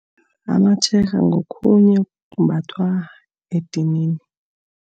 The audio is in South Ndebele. ngokhunye okumbathwa edinini.